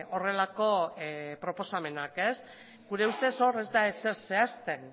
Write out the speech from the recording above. horrelako proposamenak gure ustez hor ez da ezer zehazten